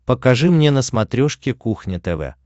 покажи мне на смотрешке кухня тв